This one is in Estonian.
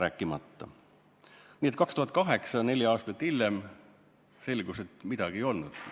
Aastal 2008, neli aastat hiljem aga selgus, et midagi ei olnudki.